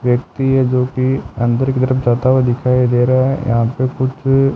व्यक्ति है जो कि अंदर की तरफ जाता हुआ दिखाई दे रहा है यहां पे कुछ--